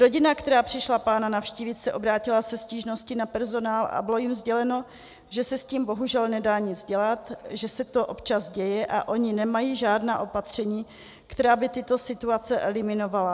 Rodina, která přišla pána navštívit, se obrátila se stížností na personál a bylo jim sděleno, že se s tím bohužel nedá nic dělat, že se to občas děje a oni nemají žádná opatření, která by tyto situace eliminovala.